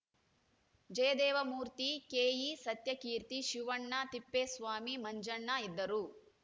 ಜಯದೇವಮೂರ್ತಿ ಕೆಇಸತ್ಯಕೀರ್ತಿ ಶಿವಣ್ಣ ತಿಪ್ಪೇಸ್ವಾಮಿ ಮಂಜಣ್ಣ ಇದ್ದರು